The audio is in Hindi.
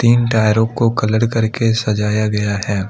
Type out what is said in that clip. इन टायरों को कलर करके सजाया गया है।